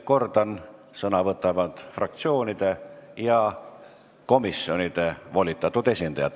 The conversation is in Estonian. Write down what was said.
Kordan, et sõna võtavad fraktsioonide ja komisjonide volitatud esindajad.